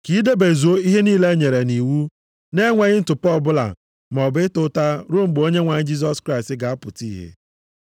ka i debezuo ihe niile e nyere nʼiwu na-enweghị ntụpọ ọbụla maọbụ ịta ụta ruo mgbe Onyenwe anyị Jisọs Kraịst ga-apụta ihe.